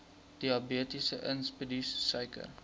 diabetes insipidus suiker